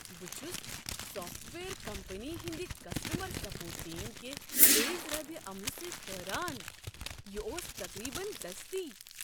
بہٕ چھس software company ہنٛدِ کسٹمر سپورٹ ٹیم کہ تیز ردعمل سۭتۍ حٲران ۔ یہ اوس تقریبا دٔستی!